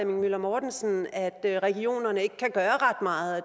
møller mortensen at regionerne ikke kan gøre ret meget at